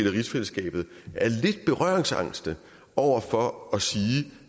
rigsfællesskabet er lidt berøringsangste over for at sige